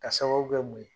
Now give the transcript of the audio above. Ka sababu kɛ mun ye